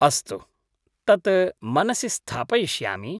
अस्तु, तत् मनसि स्थापयिष्यामि।